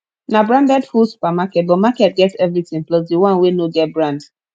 na branded full supermarket but market get everything plus the one wey no get brand